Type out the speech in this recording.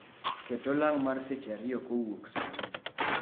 Ket olang' mar seche ariyo kowuok sani